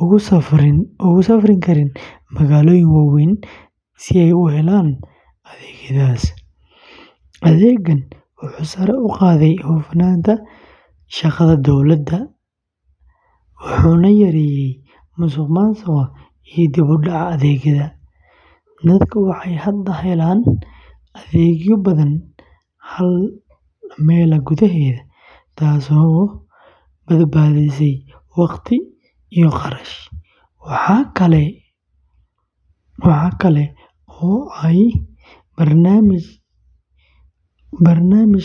ugu safri karin magaalooyin waaweyn si ay u helaan adeegyadaas. Adeeggan wuxuu sare u qaaday hufnaanta shaqada dowladda, wuxuuna yareeyey musuqmaasuqa iyo dib-u-dhaca adeegyada. Dadku waxay hadda helaan adeegyo badan hal meel gudaheeda, taasoo badbaadisay waqti iyo kharash. Waxa kale oo ay barnaamijkani.